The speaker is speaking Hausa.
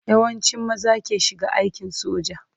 Yawancin maza ke shiga aikin soja.